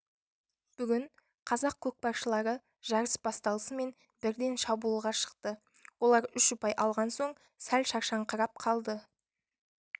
бүгін қазақ көкпаршылары жарыс басталысымен бірден шабуылға шықты олар үш ұпай алған соң сәл шаршаңқырап қалды